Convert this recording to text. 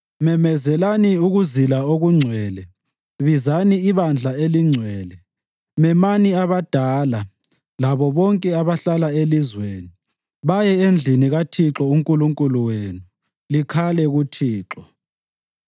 Memezelani ukuzila okungcwele; bizani ibandla elingcwele. Memani abadala labo bonke abahlala elizweni, baye endlini kaThixo uNkulunkulu wenu, likhale kuThixo.